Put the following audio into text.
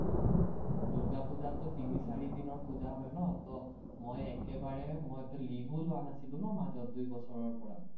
দূৰ্গাপুজাততো তিনি-চাৰিদিনৰ পুজা হয় ন, মই একেবাৰে মইতো leave ও লোৱা নাছিল